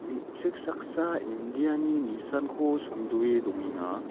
me·chik saksa indiani nisanko songdoe dongenga.